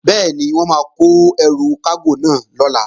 Bẹ́ẹ̀ni, wọ́n máa kó ẹrù kágò náà lọ̀la